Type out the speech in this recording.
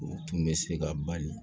U tun bɛ se ka bali